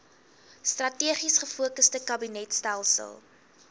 strategies gefokusde kabinetstelsel